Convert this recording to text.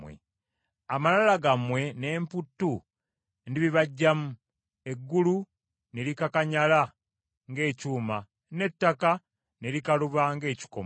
Amalala gammwe n’emputtu ndibibaggyamu, eggulu ne likakanyala ng’ekyuma, n’ettaka ne likaluba ng’ekikomo.